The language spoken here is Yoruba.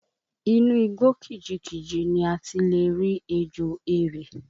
Inú igbó kìjikìji ni a ti le rí ejò erè